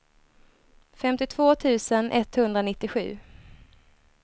femtiotvå tusen etthundranittiosju